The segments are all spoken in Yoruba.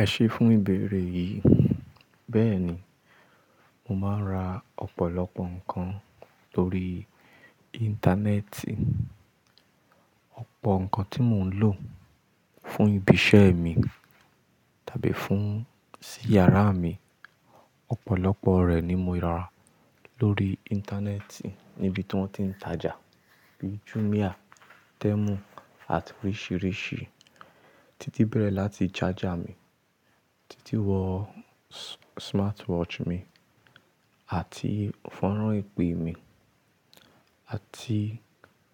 Ẹ ṣe fún ìbéèrè yìí. Bẹ́ẹ̀ ni, mo máa ń ra ọ̀pọ̀lọpọ̀ nǹkan lórí Íńtánẹ́ẹ̀tì. Ọ̀pọ̀ nǹkan tí mò ń lò fún ibi iṣẹ́ mi tàbí fún sí yàrá mi, ọ̀pọ̀lọpọ̀ rẹ̀ ni mo ra lórí Íńtánẹ́ẹ̀tì níbi tí wọ́n ti ń tajà bíi Jumia, Temu àti oríṣìíríṣìí. Títí bẹ̀rẹ̀ láti charger mi, títí wọ smartwatch mi àti fọ́nrán ìpè mi àti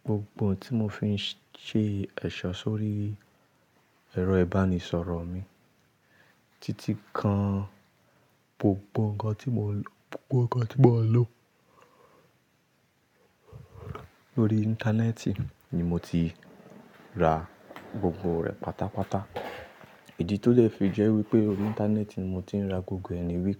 gbogbo ohun tí mò fi ń ṣe ẹ̀ṣọ́ sórí ẹ̀rọ ìbánisọ̀rọ̀ mi, títí kan gbogbo ohun kan tí mò ń lò. Gbogbo ohun kan tí mò ń lò lórí Íńtánẹ́ẹ̀tì ni mo ti ra gbogbo rẹ̀ pàtà pàtà. Ìdí tó dẹ fi jẹ́ wípé lórí Íńtánẹ́ẹ̀tì ni mò ti ń ra gbogbo rẹ ni wi.